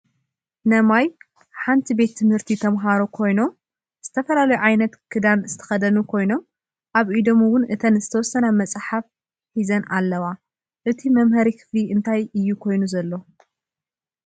ነማይ ሓንቲ ቤት ት/ት ተማህሮ ኮይኖም ዝተፈላለየ ዓይነት ክዳን ዝተከደኑ ኮይኖም ኣብ ኢዶም እውን እተን ዝተወሰና መፅሓፍ ሒዘን ኣለዋ። እቱይ መምሀሪ ክፍሊ እንታይ እዩ ኮይኑ ዘሎ?